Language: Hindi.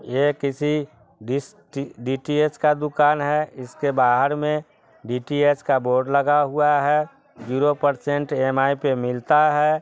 ये किसी दिस_डी_टी_एच का दुकान है| इसके बाहर मे डी_टी_एच का बोर्ड लगा हुआ है zero percent E _M _I पे मिलता है ।